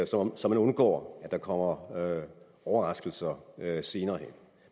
så så man undgår at der kommer overraskelser senere hen